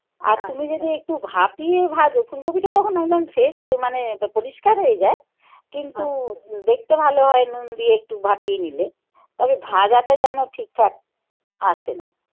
আর তুমি যদি একটু ভাপিয়ে ভাজো ফুলকপিটা তখন ভাবলাম শেষ হয়ে মানে পরিষ্কার হয়ে যা কিন্তু দেখতে ভালো হয় নুন দিয়ে একটু ভাপিয়ে নিলে. তবে ভাজাটা যেন ঠিকঠাক আসে না.